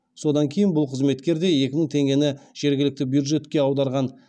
содан кейін бұл қызметкер де екі мың теңгені жергілікті бюджетке аударған